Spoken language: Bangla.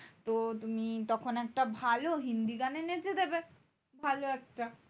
তো তুমি তখন একটা ভালো হিন্দি গানে নেচে দেবে ভালো একটা।